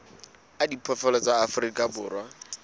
a diphoofolo tsa afrika borwa